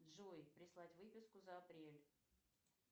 джой прислать выписку за апрель